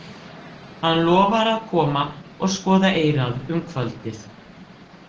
Hann lofar að koma og skoða eyrað um kvöldið.